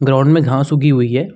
Ground में घास उगी हुई है।